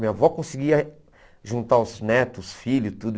Minha avó conseguia juntar os netos, os filhos, tudo.